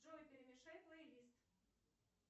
джой перемешай плейлист